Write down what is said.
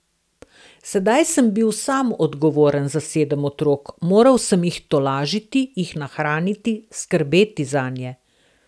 Sedaj sem bil sam odgovoren za sedem otrok, moral sem jih tolažiti, jih nahraniti, skrbeti zanje.